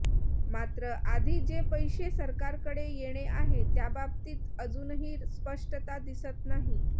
मात्र आधी जे पैसे सरकारकडे येणे आहे त्याबाबतीत अजूनही स्पष्टता दिसत नाही